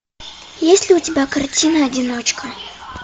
есть ли у тебя картина одиночка